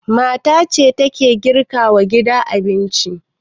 Mata ce ke girka wa gida abinci.